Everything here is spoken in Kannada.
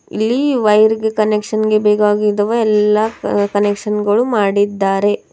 ಇಲ್ಲಿ ವೈರ ಗೆ ಕನೆಕ್ಷನ್ ಗೆ ಬೇಕಾಗಿರುವ ಎಲ್ಲಾ ಕ್ ಕನೆಕ್ಷನ್ ಗಳು ಮಾಡಿದ್ದಾರೆ.